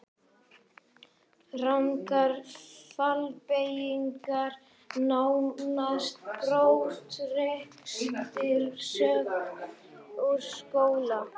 Rangar fallbeygingar nánast brottrekstrarsök úr skóla.